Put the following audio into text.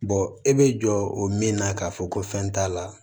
e bɛ jɔ o min na k'a fɔ ko fɛn t'a la